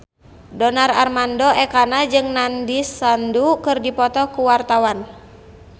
Donar Armando Ekana jeung Nandish Sandhu keur dipoto ku wartawan